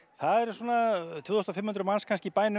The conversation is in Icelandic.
það eru svona tvö þúsund og fimm hundruð manns í bænum